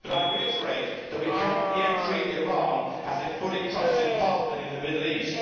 I reiterate that we cannot yet treat Iran as a fully trusted partner in the Middle East.